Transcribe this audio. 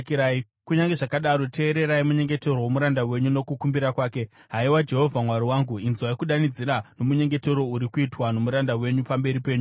Kunyange zvakadaro, teererai munyengetero womuranda wenyu nokukumbira kwake, haiwa Jehovha Mwari wangu. Inzwai kudanidzira nomunyengetero uri kuitwa nomuranda wenyu pamberi penyu nhasi.